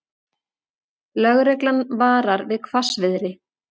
Lögreglan varar við hvassviðri